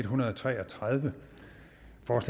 hundrede og tre og tredive